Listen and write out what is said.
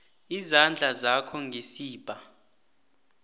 izandla zakho ngesibha